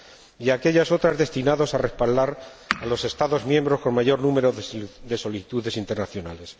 y las destinadas a respaldar a los Estados miembros con mayor número de solicitudes internacionales.